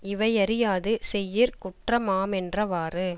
இவை யறியாது செய்யிற் குற்றமாமென்றவாறு